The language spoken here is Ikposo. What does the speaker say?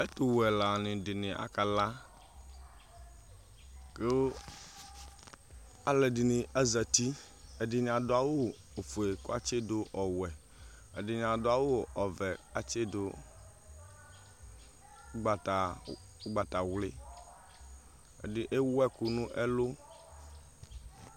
ɛtu wɛ ɛla ɖini aka lã ku aludini azati ɛdini adua awu fue ku atchi du ɔwɛ ɛdini adɔ awu ɔvɛ ku atchidu ugbata wli ɛdi ewu ɛku nu ɛlu